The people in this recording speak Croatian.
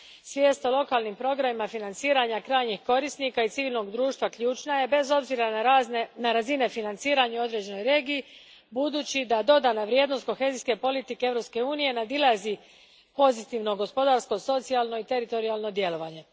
Svijest o lokalnim programima financiranja krajnjih korisnika i civilnog društva ključna je, bez obzira na razine financiranja u određenoj regiji, budući da dodana vrijednost kohezijske politike Europske unije nadilazi pozitivno gospodarsko, socijalno i teritorijalno djelovanje.